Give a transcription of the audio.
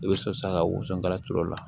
I bɛ so sa ka woson kala turu o la